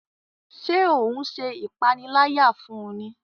Ṣe o n ṣe ipanilaya fún ní?